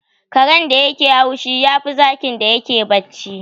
Karen da yake haushi, yafi zakin da yake bacci.